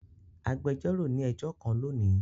Agbẹjọro ni ẹjọ kan loni.